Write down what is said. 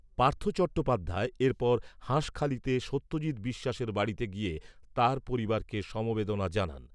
পার্থ চট্টোপাধ্যায় এরপর হাঁসখালিতে সত্যজিত বিশ্বাসের বাড়িতে গিয়ে তাঁর পরিবারকে সমবেদনা জানান।